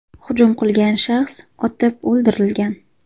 Hujum qilgan shaxs otib o‘ldirilgan .